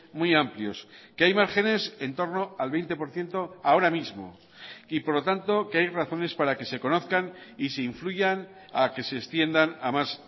muy amplios que hay márgenes en torno al veinte por ciento ahora mismo y por lo tanto que hay razones para que se conozcan y se influyan a que se extiendan a más